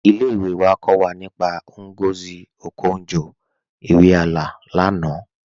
Ilé-ìwé wà kọ́ wà nípá Ngozi Okonjo-Iweala lánà